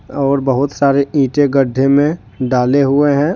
और बहुत सारे ईंटें गड्ढे में डाले हुए हैं।